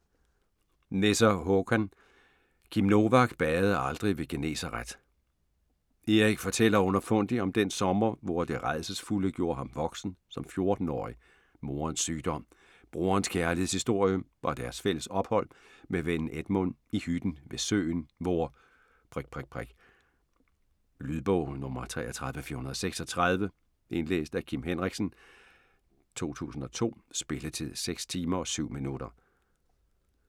Nesser, Håkan: Kim Novak badede aldrig ved Genesaret Erik fortæller underfundigt om dén sommer, hvor Det Rædselsfulde gjorde ham voksen som 14-årig: moderens sygdom, broderens kærlighedshistorie og deres fælles ophold med vennen Edmund i hytten ved søen, hvor ... Lydbog 33436 Indlæst af Kim Henriksen, 2002. Spilletid: 6 timer, 7 minutter.